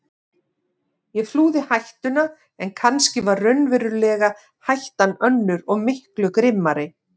Ég flúði hættuna en kannski var raunverulega hættan önnur og miklu grimmari.